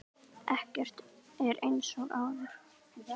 Ekkert er eins og áður.